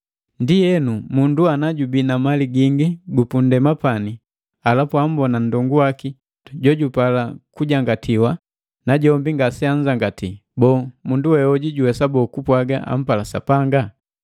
Ndienu, mundu ana jubii na mali gingi yu punndema pani, halapu ammbona nndongu waki jojupala kujangatiwa, najombi ngaseanzangati, boo, mundu wehoju juwesa boo kupwaga ampala Sapanga?